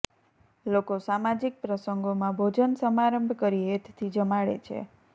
લોકો સામાજીક પ્રસંગોમાં ભોજન સમારંભ કરી હેતથી જમાડે છે